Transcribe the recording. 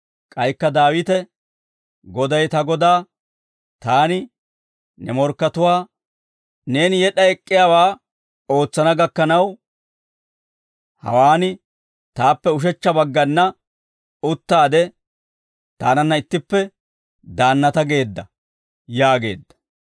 K'aykka Daawite, «Goday ta Godaa, Taani, ‹Ne morkkatuwaa, neeni yed'd'a ek'k'iyaawaa ootsana gakkanaw, hawaan taappe ushechcha baggana uttaade taananna ittippe daannata geedda› yaageedda.